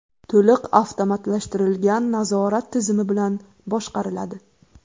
To‘liq avtomatlashtirilgan nazorat tizimi bilan boshqariladi.